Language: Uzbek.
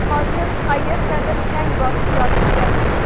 Hozir qayerdadir chang bosib yotibdi.